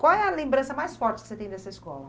Qual é a lembrança mais forte que você tem dessa escola?